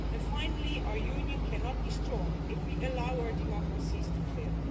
Finally, our Union cannot be strong if we allow our democracies to fail.